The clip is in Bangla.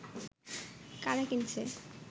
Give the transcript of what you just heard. কারা কিনছে